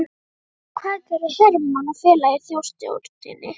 Og hvað gerðu Hermann og félagar í Þjóðstjórninni?